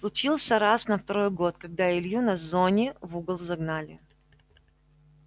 случился раз на второй год когда илью на зоне в угол загнали